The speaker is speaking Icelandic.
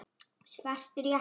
Svartir jakkar.